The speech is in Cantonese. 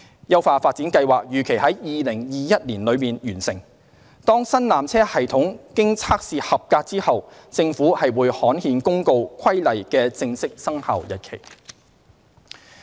優化發展計劃預期於2021年內完成，當新纜車系統經測試合格後，政府會刊憲公告《規例》的正式生效日期。